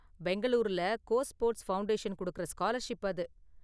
பெங்களூருல go sports foundation கொடுக்குற scholarship அது.